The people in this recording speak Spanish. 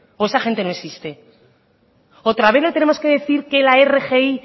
o esa gente no existe otra vez le tenemos que decir que la rgi